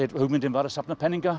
hugmyndin var að safna peningum